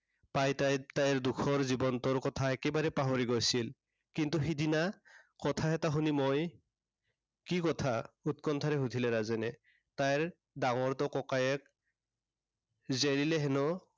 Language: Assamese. পায় তাই তাইৰ দুখৰ জীৱনটোৰ কথা একেবাৰে পাহৰি গৈছিল। কিন্তু সেইদিনা, কথা এটা শুনি মই কি কথা, উৎকণ্ঠাৰে সুধিলে ৰাজেনে, তাইৰ ডাঙৰটো ককায়েক জেৰিলে সেনো